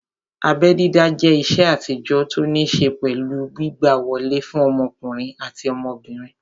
Abẹ́ dídá jẹ́ ìṣe àtijọ́ tó ní ṣé pẹ̀lú gbígbà wọlé fún ọmọkùnrin àti ọmọbìnrin